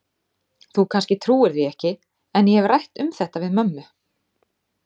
Þú kannski trúir því ekki, en ég hef rætt um þetta við mömmu.